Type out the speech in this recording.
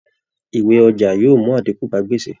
Ìwé ọjà yóò mú àdínkù bá gbèsè